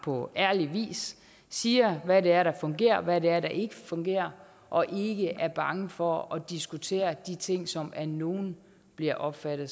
på ærlig vis siger hvad det er der fungerer og hvad det er der ikke fungerer og ikke er bange for at diskutere de ting som af nogle bliver opfattet